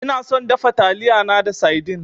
Ina son dafa taliyana da saidin.